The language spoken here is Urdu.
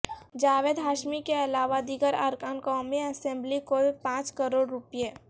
جاوید ہاشمی کے علاوہ دیگر ارکان قومی اسمبلی کو پانچ کروڑ روپے